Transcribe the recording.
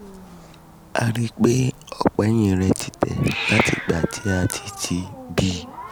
a rí i pé ọ̀pá ẹ̀yìn rẹ̀ ti tẹ̀ láti ìgbà tí a ti ti bí i